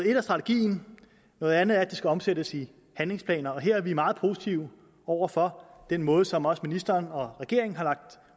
et er strategien noget andet er at det skal omsættes til handlingsplaner og her er vi meget positive over for den måde som også ministeren og regeringen har lagt